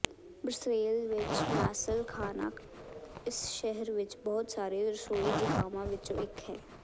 Brussels ਵਿੱਚ mussel ਖਾਣਾ ਇਸ ਸ਼ਹਿਰ ਵਿੱਚ ਬਹੁਤ ਸਾਰੇ ਰਸੋਈ ਜਗਾਵਾਂ ਵਿੱਚੋਂ ਇੱਕ ਹੈ